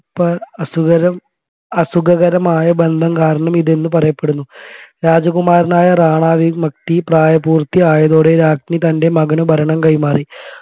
അസുഖരം അസുഖകരമായ ബന്ധം കാരണം ഇതെന്ന് പറയപ്പെടുന്നു രാജകുമാരനായ റാണ വിമുക്തി പ്രായപൂർത്തിയായതോടെ രാഞ്ജി തൻെറ മകൻ ഭരണം കൈമാറി